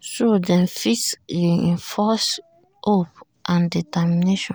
so dem fit reinforce hope and determination.